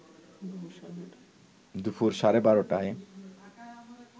দুপুর সাড়ে ১২টায়